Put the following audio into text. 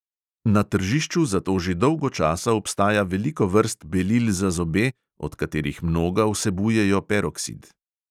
Na tržišču zato že dolgo časa obstaja veliko vrst belil za zobe, od katerih mnoga vsebujejo peroksid.